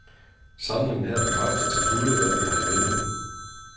Samlingen her bekræfter til fulde, hvad vi har i vente.